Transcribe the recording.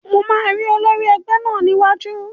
Mo máa rí olórí ẹgbẹ́ náà ní iwájú